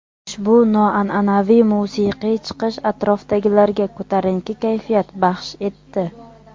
Ushbu noan’anaviy musiqiy chiqish atrofdagilarga ko‘tarinki kayfiyat baxsh etdi.